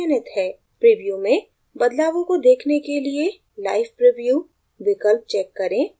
preview में बदलावों को देखने के लिए live preview विकल्प check करें